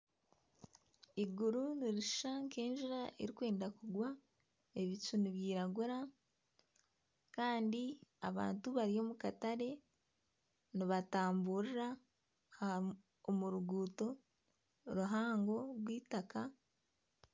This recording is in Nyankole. Eiguru nirishusha nk'enjura erikwenda kugwa ebucu nubyiragura kandi abantu bari omu katare nibatamburira omu ruguuto ruhango rw'eitaka .